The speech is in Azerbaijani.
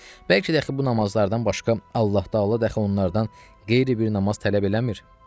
Bəlkə dəxi bu namazlardan başqa Allah Təala dəxi onlardan qeyri bir namaz tələb eləmir.